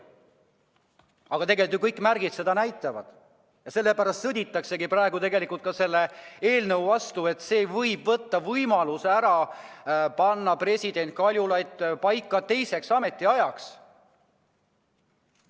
Tegelikult näitavad kõik märgid seda, et selle pärast sõditakse praegu selle eelnõu vastu, et see võib võtta võimaluse panna president Kaljulaid paika teiseks ametiajaks.